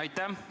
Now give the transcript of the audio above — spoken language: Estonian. Aitäh!